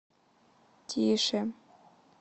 тише